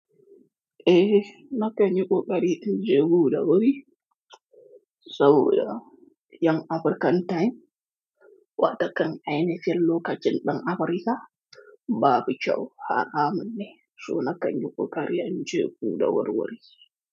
Eh, na kan yi ƙoƙari in je gu da wuri. Saboda 'yan African Time, waɗannan ainihin lokacin ɗan Afrika babu kyau. Haramunne, so na kan yi ƙoƙari in je guda wurwuri.